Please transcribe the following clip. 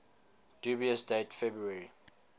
dubious date february